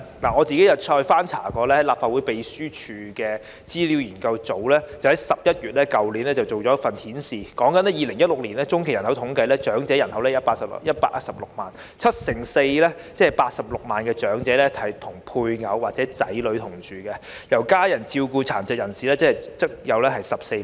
我曾翻閱立法會秘書處資料研究組去年11月發表的一份資料，當中指出按2016年進行的中期人口統計數字，長者人口數目有116萬人，其中七成四長者與配偶或子女同住，由家人照顧的殘疾人士則有14萬人。